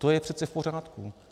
To je přece v pořádku.